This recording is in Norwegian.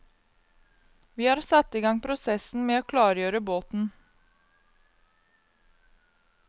Vi har satt i gang prosessen med å klargjøre båten.